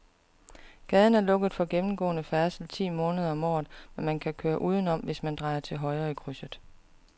Gaden er lukket for gennemgående færdsel ti måneder om året, men man kan køre udenom, hvis man drejer til højre i krydset.